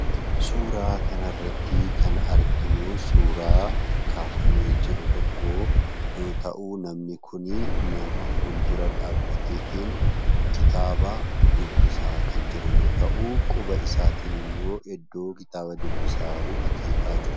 Suuraa kanarrattii kan arginuu suuraa kaafamee jiru tokko yoo ta'u namni kunii fuuldura dhaabbateetiin kitaaba dubbisaa kan jiru yoo ta'u quba isaatiin immoo iddoo kitaaba dubbisaa jiru akeekaa jira.